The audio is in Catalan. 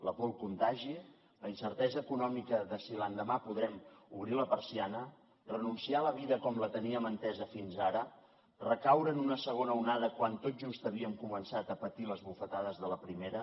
la por al contagi la incertesa econòmica de si l’endemà podrem obrir la persiana renunciar a la vida com la teníem entesa fins ara recaure en una segona onada quan tot just havíem començat a patir les bufetades de la primera